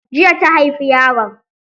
Jiya ta haifi yaron.